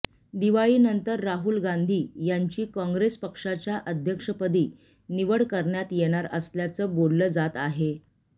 दिवाळीनंतर राहुल गांधी यांची काँग्रेस पक्षाच्या अध्यक्षपदी निवड करण्यात येणार असल्याचं बोललं जात आहे